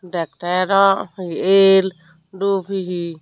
dektey dw he el dup he he.